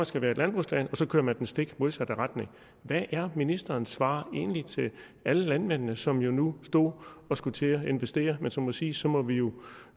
skal være et landbrugsland og så kører man i den stik modsatte retning hvad er ministerens svar egentlig til alle landmændene som jo nu nu skulle til investere men som må sige så må vi jo